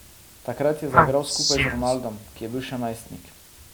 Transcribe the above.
Takrat je zaigral skupaj z Ronaldom, ki je bil še najstnik.